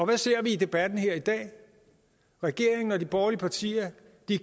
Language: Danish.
hvad ser vi i debatten her i dag regeringen og de borgerlige partier